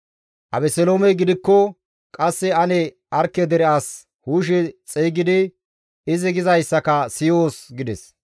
Abeseloomey gidikko, «Qasse ane Arkke dere as Hushe xeygidi izi gizayssaka siyoos» gides.